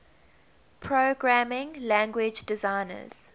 programming language designers